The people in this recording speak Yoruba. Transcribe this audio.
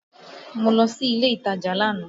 Mo lọ sí ilé ìtajà lánàá